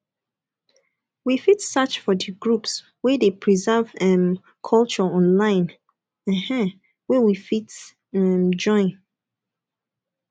we fit search for di groups wey de preserve um culture online um wey we fit um join